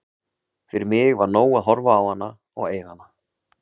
Fyrir mig var nóg að horfa á hana og eiga hana.